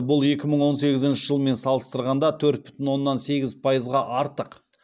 бұл екі мың он сегізінші жылмен салыстырғанда төрт бүтін оннан сегіз пайызға артық